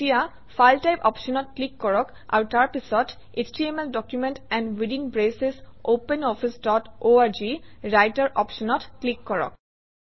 এতিয়া file type অপশ্যনত click কৰক আৰু তাৰপিছত HTML document and within braces Open Office dot org Writer অপশ্যনত ক্লিক কৰক